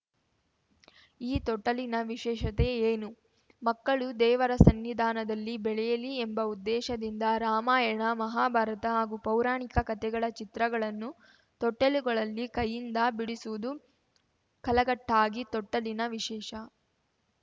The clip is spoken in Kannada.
ಈ ತೊಟ್ಟಲಿನ ವಿಶೇಷತೆ ಏನು ಮಕ್ಕಳು ದೇವರ ಸನ್ನಿಧಾನದಲ್ಲಿ ಬೆಳೆಯಲಿ ಎಂಬ ಉದ್ದೇಶದಿಂದ ರಾಮಾಯಣ ಮಹಾಭಾರತ ಹಾಗೂ ಪೌರಾಣಿಕ ಕಥೆಗಳ ಚಿತ್ರಗಳನ್ನು ತೊಟ್ಟಿಲುಗಳಲ್ಲಿ ಕೈಯಿಂದ ಬಿಡಿಸುವುದು ಕಲಘಟ್ಟಾಗಿ ತೊಟ್ಟಲಿನ ವಿಶೇಷ